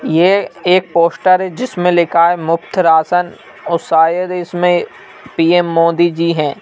ये एक पोस्टर है जिसमें लिखा है मुक्त राशन और शायद इसमें पी_ए_म मोदी जी हैं।